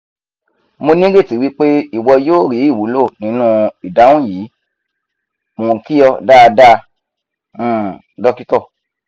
mo nireti wipe iwo yoo ri iwulo ninu idahun yi! mo n ki o daada um dr